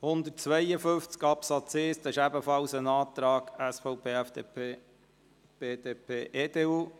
Zu Artikel 152 Absatz 1 liegt ebenfalls ein Antrag SVP/FDP/BDP/EDU vor.